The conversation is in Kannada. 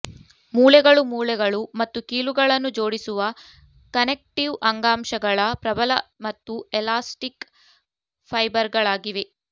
ಮೂಳೆಗಳು ಮೂಳೆಗಳು ಮತ್ತು ಕೀಲುಗಳನ್ನು ಜೋಡಿಸುವ ಕನೆಕ್ಟಿವ್ ಅಂಗಾಂಶಗಳ ಪ್ರಬಲ ಮತ್ತು ಎಲಾಸ್ಟಿಕ್ ಫೈಬರ್ಗಳಾಗಿವೆ